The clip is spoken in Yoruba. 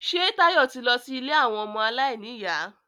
Ṣé Táyọ̀ ti lọ sí ilé àwọn ọmọ aláìníyà?